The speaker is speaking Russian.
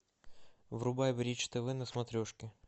врубай бридж тв на смотрешке